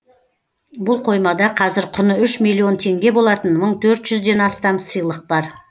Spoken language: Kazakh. бұл қоймада қазір құны үш миллион теңге болатын мың төрт жүзден астам сыйлық бар